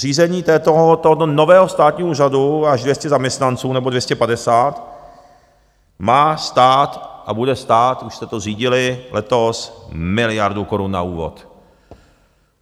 Zřízení tohoto nového státního úřadu, až 200 zaměstnanců nebo 250, má stát a bude stát, už jste to zřídili letos, miliardu korun na úvod.